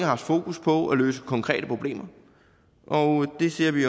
haft fokus på at løse konkrete problemer og det ser vi